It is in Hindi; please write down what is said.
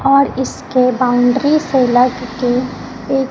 और इसके बाउंड्री से लग के एक--